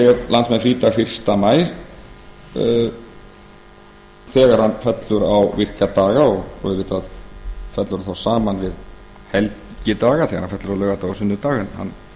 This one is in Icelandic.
landsmenn frídag fyrsta maí þegar hann fellur á virka daga og auðvitað fellur hann þá saman við helgidaga þegar hann fellur á laugardaga og sunnudaga en hann